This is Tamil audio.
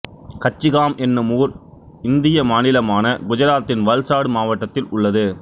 கச்சிகாம் என்னும் ஊர் இந்திய மாநிலமான குஜராத்தின் வல்சாடு மாவட்டத்தில் உள்ளது